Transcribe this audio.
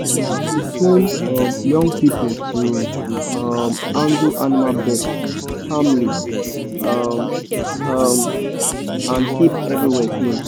we dey train um young people to um handle animal birth calmly um um and keep everywhere clean.